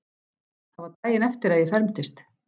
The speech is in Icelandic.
Það var daginn eftir að ég fermdist.